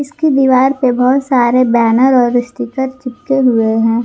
इसकी दीवार पे बहुत सारे बैनर और स्टीकर चिपके हुए हैं।